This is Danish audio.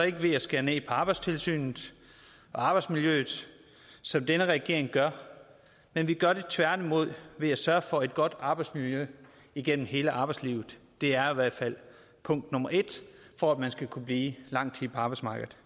ikke ved at skære ned på arbejdstilsynet og arbejdsmiljøet som denne regering gør vi vi gør det tværtimod ved at sørge for et godt arbejdsmiljø igennem hele arbejdslivet det er i hvert fald punkt nummer en for at man skal kunne blive lang tid på arbejdsmarkedet